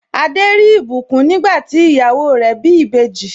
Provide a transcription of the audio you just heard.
Adé rí ìbùkún nígbà tí ìyàwó rẹ̀ bí ìbejì.